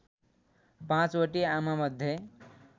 Panchvati आमामध्ये